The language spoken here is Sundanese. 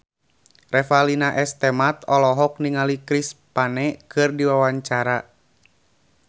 Revalina S. Temat olohok ningali Chris Pane keur diwawancara